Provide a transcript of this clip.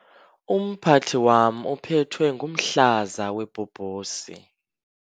Umphathi wam uphethwe ngumhlaza webhobhosi.